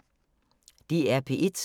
DR P1